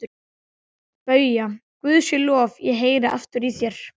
BAUJA: Guði sé lof, ég heyri aftur í þér!